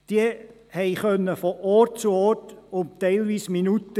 Diese differierten von Ort zu Ort teilweise um Minuten.